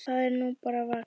Það er nú bara vax.